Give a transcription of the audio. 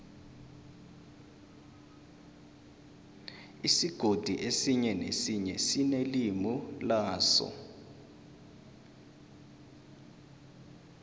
isigodi esinye nesinye sinelimi laso